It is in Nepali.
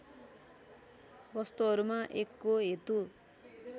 वस्तुहरूमा एकको हेतु